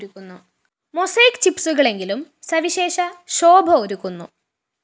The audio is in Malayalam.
മൊസൈക്ക്‌ ചിപ്‌സുകളെങ്കിലും സവിശേഷ ശോഭ ഒരുക്കുന്നു